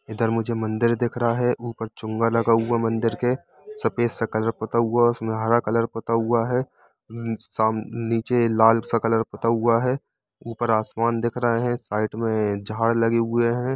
इधर मुझे मंदिर दिख रहा है उपर चुंगा लगा हुआ है मंदिर के सफ़ेद सा कलर पोता हुआ है उसमे हरा कलर पोता हुआ है साम-नीचे लाल सा कलर पोता हुआ है ऊपर आसमान दिख रहे है साइड मे झाड़ लगे हुए है।